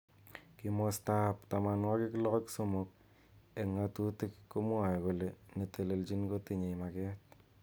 Kimosta ab 63 eng ng'atutik komwaei kole netelejin kotinye maget.